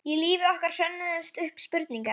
Í lífi okkar hrönnuðust upp spurningar.